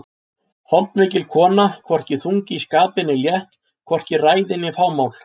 Holdmikil kona, hvorki þung í skapi né létt, hvorki ræðin né fámál.